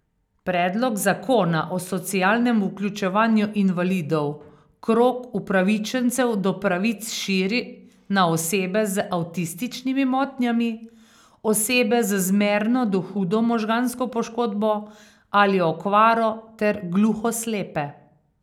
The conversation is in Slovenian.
Predlog zakona o socialnem vključevanju invalidov krog upravičencev do pravic širi na osebe z avtističnimi motnjami, osebe z zmerno do hudo možgansko poškodbo ali okvaro ter gluhoslepe.